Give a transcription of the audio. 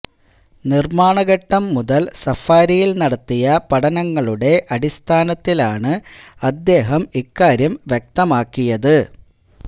നിര്മാണഘട്ടം മുതല് സഫാരിയില് നടത്തിയ പഠനങ്ങളുടെ അടിസ്ഥാനത്തിലാണ് അദ്ദേഹം ഇക്കാര്യം വ്യക്തമാക്കിയത്